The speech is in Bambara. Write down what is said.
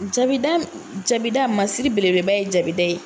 Jabida jabida masiri beleba ye jabida ye.